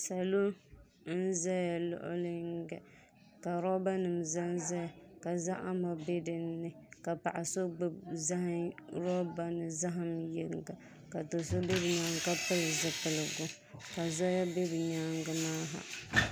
Salo n ʒɛ luɣu yinga ka roba nim ʒɛnʒɛya ka zahama bɛ dinni ka paɣa so gbubi roba ni zaham yɛlo ka do so bɛ o nyaanga ka pili zipiligu ka zoya bɛ bi nyaangi maa ha